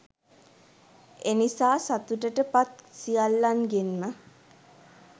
එනිසා සතුටට පත් සියල්ලන්ගෙන්ම